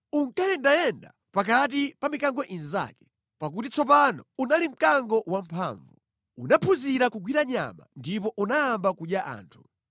Unkayendayenda pakati pa mikango inzake, pakuti tsopano unali mkango wamphamvu. Unaphunzira kugwira nyama ndipo unayamba kudya anthu.